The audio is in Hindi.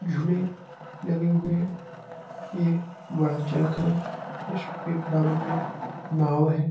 झूले लगे हुए हैं। ये बड़ा चरखा है। इसके बराबर में नाव है।